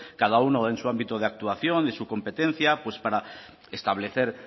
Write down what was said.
cada uno en su ámbito de actuación y de su competencia pues para establecer